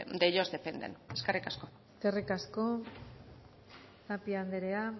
de ellos dependen eskerrik asko eskerrik asko tapia andrea